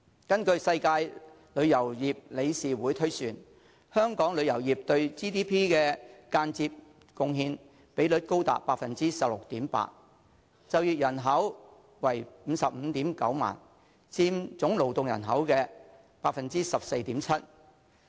根據世界旅遊業理事會推算，香港旅遊業對 GDP 的間接貢獻比率高達 16.8%， 就業人口為 559,000， 佔總勞動人口的 14.7%。